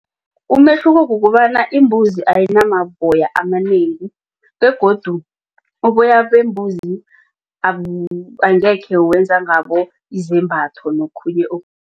Umehluko kukobana imbuzi ayinamaboya amanengi begodu uboya bembuzi angekhe wenza ngabo izembatho nokhunye